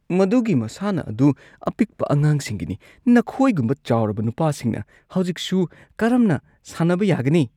ꯃꯗꯨꯒꯤ ꯃꯁꯥꯟꯅ ꯑꯗꯨ ꯑꯄꯤꯛꯄ ꯑꯉꯥꯡꯁꯤꯡꯒꯤꯅꯤ꯫ ꯅꯈꯣꯏꯒꯨꯝꯕ ꯆꯥꯎꯔꯕ ꯅꯨꯄꯥꯁꯤꯡꯅ ꯍꯧꯖꯤꯛꯁꯨ ꯀꯔꯝꯅ ꯁꯥꯟꯅꯕ ꯌꯥꯒꯅꯤ?